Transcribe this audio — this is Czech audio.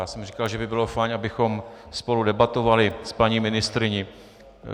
Já jsem říkal, že by bylo fajn, abychom spolu debatovali s paní ministryní.